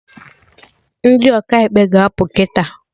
Ndị Ọkaikpe ga-apụ kịta